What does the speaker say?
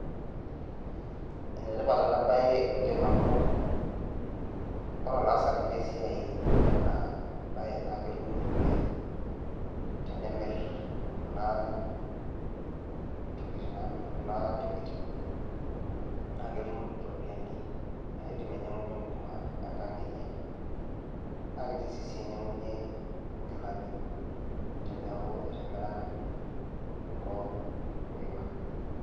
Enetipat ena baye oleng' amuu, ore olaasanai le esiaai lena baye naa ketum iropiyiani tenemirr kuna tokitin, naa ketum iropiyiani naaidim ainy'iang'uny'ie enkurma enkang' eny'e naa kiidim sii ainy'iang'uny'ie inkilani teneeku etimira kuloo miwa.